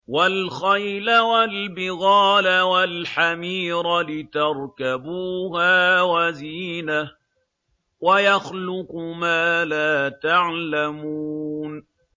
وَالْخَيْلَ وَالْبِغَالَ وَالْحَمِيرَ لِتَرْكَبُوهَا وَزِينَةً ۚ وَيَخْلُقُ مَا لَا تَعْلَمُونَ